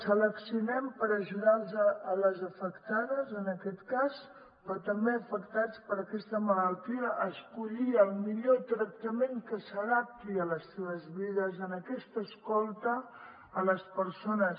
seleccionem per ajudar les afectades en aquest cas però també afectats per aquesta malaltia a escollir el millor tractament que s’adapti a les seves vides en aquesta escolta a les persones